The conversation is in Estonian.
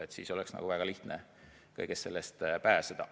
Sel juhul oleks väga lihtne kõigest sellest pääseda.